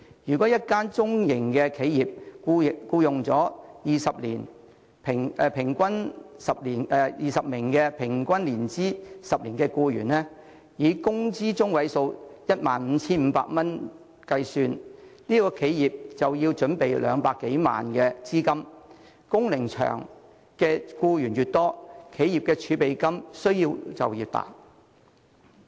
假設一間中型企業僱用了20名年資平均10年的僱員，以工資中位數 15,500 元計算，該企業便要預備200多萬元資金，工齡長的僱員越多，企業儲備金的需要便越大。